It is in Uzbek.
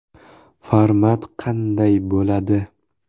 Format qanday bo‘ladi?